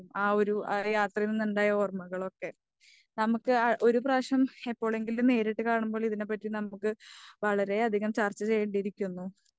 ആ ഒരു യാത്രയിൽ നിന്നുണ്ടായ ഓർമ്മകളൊക്കെ നമുക്ക് ആ ഒരുപ്രാവശ്യം എപ്പോളെങ്കിലും നേരിട്ട് കാണുമ്പോൾ ഇതിനെ പാറ്റി നമുക്ക് വളരെയധികം ചർച്ച ചെയ്യണ്ടി ഇരിക്കുന്നു.